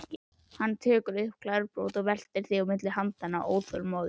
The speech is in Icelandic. Hann tekur upp glerbrot og veltir því milli handanna, óþolinmóður.